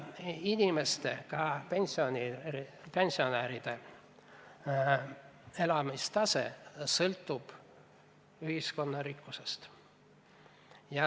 Inimeste, sh pensionäride elatustase sõltub ühiskonna rikkusest.